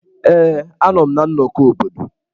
Ee, a nọ m na nnọkọ obodo.